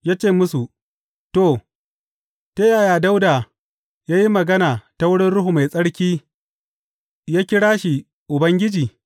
Ya ce musu, To, ta yaya Dawuda ya yi magana ta wurin Ruhu Mai Tsarki, ya kira shi Ubangiji’?